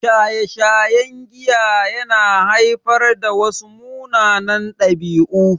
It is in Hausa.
Shaye-shayen giya ya na haifar da wasu munanan ɗabi'u